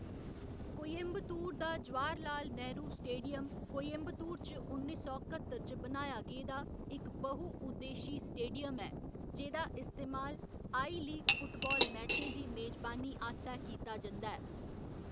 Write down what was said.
कोयंबतूर दा जवाहरलाल नेहरू स्टेडियम कोयंबतूर च उन्नी सौ कत्तर च बनाया गेदा इक बहु उद्देशी स्टेडियम ऐ जेह्‌दा इस्तेमाल आई लीग फुटबाल मैचें दी मेजबानी आस्तै कीता जंदा ऐ।